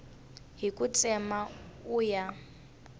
hi ku tsema u ya